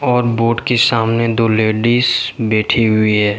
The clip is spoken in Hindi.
और बोर्ड के सामने दो लेडिस बैठी हुई है।